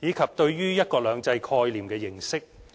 以及對於"一國兩制"概念的認識。